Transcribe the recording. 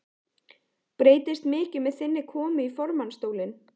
Breytist mikið með þinni komu í formannsstólinn?